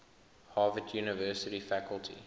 harvard university faculty